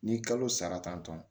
N'i kalo sara tantɔn